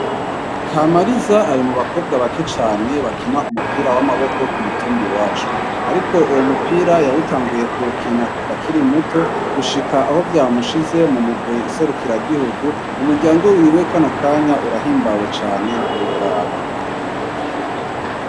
Kamariza ari mu bakobwa bake cane bakina umupira w'amaboko w ku mutumbi wacu, ariko uwo mupira yawutanguye kukina kuva akiri muto gushika aho vyamushize mu mugwi nserukira gihugu umuryango wiwe kano kanya urahimbawe cane ntiworaba.